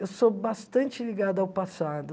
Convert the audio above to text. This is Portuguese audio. Eu sou bastante ligada ao passado.